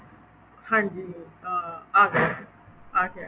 ਹਾਂਜੀ ਅਹ ਆਗਿਆ ਆਗਿਆ ਜੀ